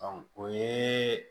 o ye